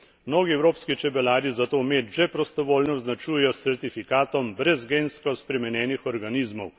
Mnogi evropski čebelarji zato med že prostovoljno označujejo s certifikatom brez gensko spremenjenih organizmov.